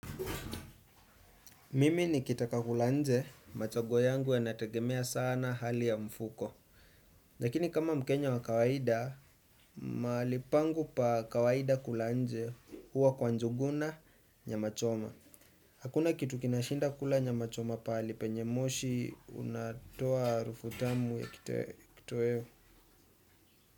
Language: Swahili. Mimi nikitaka kula nje, machaguo yangu yanategemea sana hali ya mfuko. Lakini kama mkenya wa kawaida, mali pangu pa kawaida kula nje huwa kwa njuguna nyama choma. Hakuna kitu kinashinda kula nyama choma pahali, penye moshi unatoa arufut amu ya kitoeo.